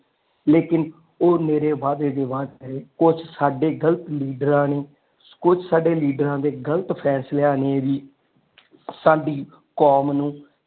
ਲੇਕਿਨ ਉਹ ਨਿਰੇ ਵਾਧੇ ਦੇ ਵਾਸਤੇ ਕੁੱਛ ਸਾਡੇ ਗ਼ਲਤ ਲੀਡਰਾ ਨੇ ਕੁਝ ਸਾਡੇ ਲੀਡਰਾ ਦੇ ਗ਼ਲਤ ਫੈਸਲਿਆਂ ਨੇ ਵੀ ਸਾਡੀ ਕੌਮ ਨੂੰ।